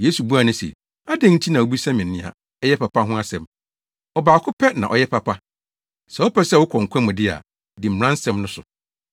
Yesu buaa no se, “Adɛn nti na wubisa me nea ɛyɛ papa ho asɛm? Ɔbaako pɛ na ɔyɛ papa. Sɛ wopɛ sɛ wokɔ nkwa mu de a, di mmara nsɛm no so.”